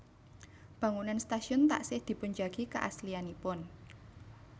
Bangunan stasiun taksih dipunjagi keaslianipun